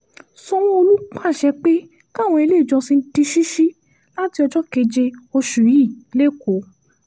sanwó-olu pàṣẹ pé káwọn iléèjọsìn di ṣíṣí láti ọjọ́ keje oṣù yìí lẹ́kọ̀ọ́